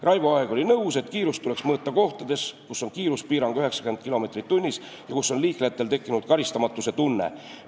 Raivo Aeg oli nõus, et kiirust tuleks mõõta kohtades, kus on kiiruspiirang 90 kilomeetrit tunnis ja kus liiklejatel on tekkinud karistamatuse tunne.